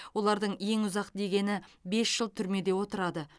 олардың ең ұзақ дегені бес жыл түрмеде отырады